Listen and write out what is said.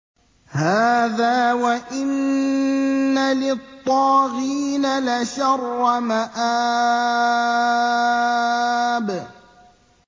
هَٰذَا ۚ وَإِنَّ لِلطَّاغِينَ لَشَرَّ مَآبٍ